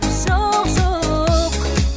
жоқ жоқ